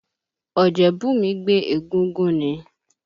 Ọ̀jẹ́bùnmí gbé egúngún ni.